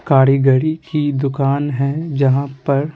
कारीगरी की दुकान है जहाँ पर--